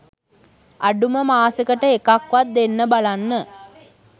අඩුම මාසෙකට එකක් වත් දෙන්න බලන්න.